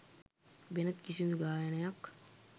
වෙනත් කිසිදු ගායනයක්